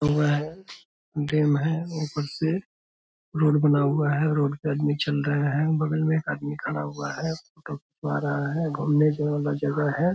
ऊपर से रोड बना हुआ हैं रोड पर आदमी चल रहा है बगल में एक आदमी खड़ा हुआ है घूमने वाला जगह है।